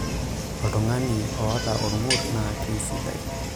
oltung'ani oota olng'urr naa kesidai